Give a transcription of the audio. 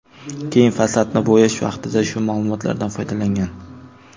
Keyin fasadni bo‘yash vaqtida shu ma’lumotlardan foydalangan.